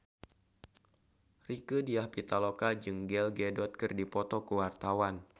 Rieke Diah Pitaloka jeung Gal Gadot keur dipoto ku wartawan